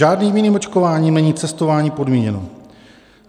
Žádným jiným očkováním není cestování podmíněno.